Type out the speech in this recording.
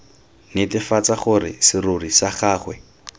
netefatsa gore serori sa gagwe